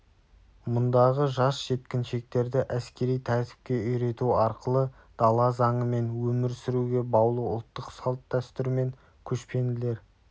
мұндағы жас жеткіншектерді әскери тәртіпке үйрету арқылы дала заңымен өмір сүруге баулу ұлттық салт-дәстүр мен көшпенділер